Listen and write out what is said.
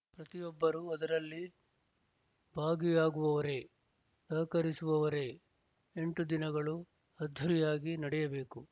ಪ್ರತಿಯೊಬ್ಬರೂ ಅದರಲ್ಲಿ ಭಾಗಿಯಾಗುವವರೇ ಸಹಕರಿಸುವವರೇ ಎಂಟು ದಿನಗಳು ಅದ್ದೂರಿಯಾಗಿ ನಡೆಯಬೇಕು